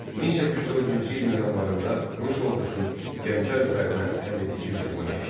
1804-cü ilin yanvarında Rus ordusu Gəncə üzərinə həlledici hücuma keçdi.